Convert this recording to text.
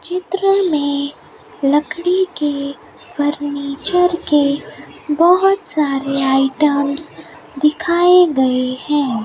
चित्र में लकड़ी के फर्नीचर के बहोत सारे आइटम्स दिखाए गए हैं।